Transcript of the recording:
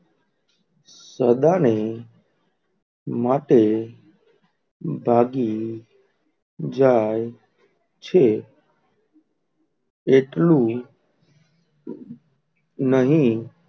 સદા ની માટે ભાગી જે છે એટલું નહીં.